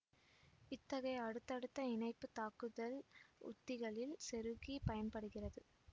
இத்தகைய அடுத்தடுத்த இணைப்பு தாக்குதல் உத்திகளில் செருக்கி பயன்படுகிறது